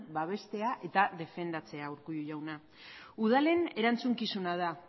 babestea eta defendatzea urkullu jauna udalen erantzukizuna da